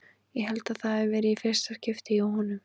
Ég held að það hafi verið í fyrsta skipti hjá honum.